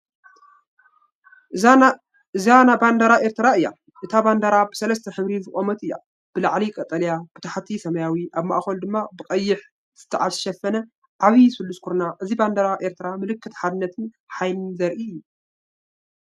እዚናይ ባንዴራ ኤርትራ እዩ። እታ ባንዴራ ብሰለስተ ሕብሪ ዝቖመት እያ፡ ብላዕሊ ቀጠልያ፡ ብታሕቲ ሰማያዊ፡ ኣብ ማእከሉ ድማ ብቐይሕ ዝተሸፈነ ዓቢ ስሉስ ኩርናዕ። እዚ ባንዴራ ኤርትራ፡ ምልክት ሓድነትን ሓይልን ዘርኢ እዩ ።